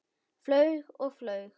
Flaug og flaug.